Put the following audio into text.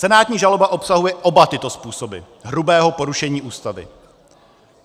Senátní žaloba obsahuje oba tyto způsoby hrubého porušení Ústavy.